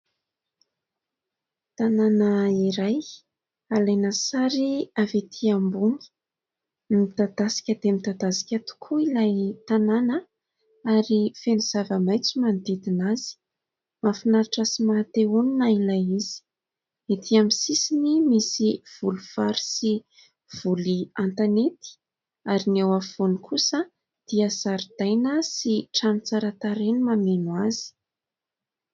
Tanàna iray alaina sary avy etỳ ambony midadasika dia midadasika tokoa ilay tanàna ary feno zava-maitso manodidina azy. Mahafinaritra sy maha te-honina ilay izy, ety amin'ny sisiny misy voly vary sy voly an-tanety, ary ny eo afovoany kosa dia zaridaina sy trano tsara tarehy mameno azy.